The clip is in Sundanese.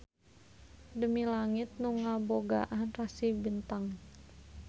Demi langit nu ngabogaan rasi bentang.